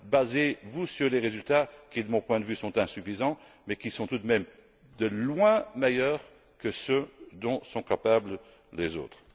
Basez vous sur les résultats qui, de mon point de vue, sont insuffisants, mais qui sont tout de même de loin meilleurs que ceux dont sont capables les autres.